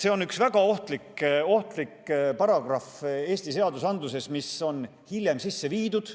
See on Eesti seadusandluses üks väga ohtlik paragrahv, mis on hiljem sisse viidud.